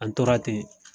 An tora ten